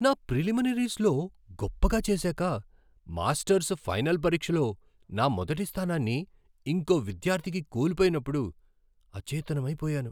నా ప్రిలిమినరీస్లో గొప్పగా చేసాక మాస్టర్స్ ఫైనల్ పరీక్షలో నా మొదటి స్థానాన్ని ఇంకో విద్యార్థికి కోల్పోయినప్పుడు అచేతనమైపోయాను.